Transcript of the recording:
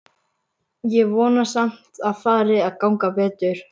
Ég vona samt að fari að ganga betur.